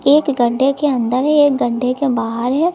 एक गड्ढे के अंदर है एक गड्ढे के बाहर है।